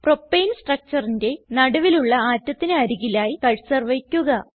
propane structureന്റെ നടുവിലുള്ള ആറ്റത്തിന് അരികിലായി കർസർ വയ്ക്കുക